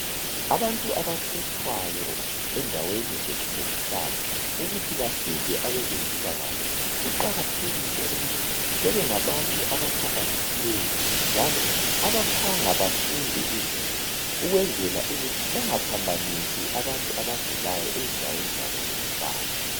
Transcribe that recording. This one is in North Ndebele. Abantu abakhethwayo endaweni zethu zokuhlala ukuthi bancede abezempilakahle kuqakathekile ukuthi bebe ngabantu abahlakaniphileyo njalo abaphanga bafunde izinto ukwenzela ukuthi bangaphambanisi abantu abagulayo ezindaweni zabo zokuhlala.